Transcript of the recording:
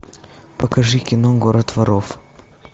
покажи кино город воров